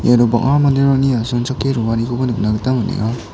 iano bang·a manderangni asongchake roanikoba nikna gita man·enga.